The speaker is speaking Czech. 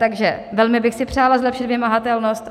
Takže velmi bych si přála zlepšit vymahatelnost.